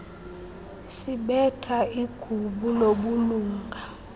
sibetha igubu lobulunga